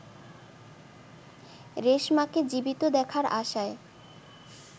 রেশমাকে জীবিত দেখার আশায়